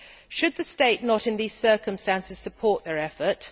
Should the state not, in these circumstances, support their effort?